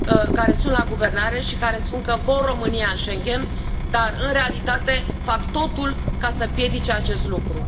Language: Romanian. care sunt la guvernare și care spun că vor România în Schengen dar, în realitate, fac totul ca să împiedice acest lucru.